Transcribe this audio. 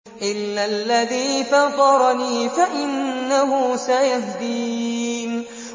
إِلَّا الَّذِي فَطَرَنِي فَإِنَّهُ سَيَهْدِينِ